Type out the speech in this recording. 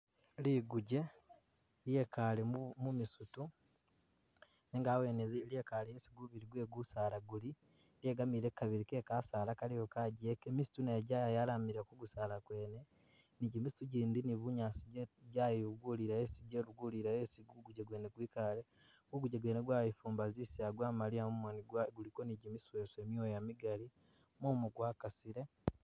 Liguje lyekale mumisitu nenga awene lyekale isi gubili gwe kusaala guli, lyegamile ku kabili kekasaala galiwo gachike, misitu najo jayalamila kumisaala kwene, ni jimisitu gendi ni bunyaasi jayibulila esi jebugulile esi gukuje kwene kwikale, kuguje kwene kwayifumba zisaaya gwamaliya mumoni gwa guliko ni misheso.. myooya migali mumu gwa kasile